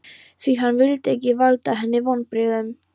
Því hann vildi ekki valda henni vonbrigðum.